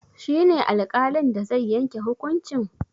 Shi ne alƙalin da zai yanke hukuncin?